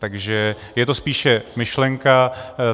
Takže je to spíše myšlenka.